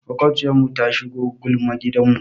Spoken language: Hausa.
Maƙwabciyarmu ta shigo gulma gidanmu.